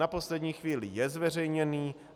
Na poslední chvíli je zveřejněný.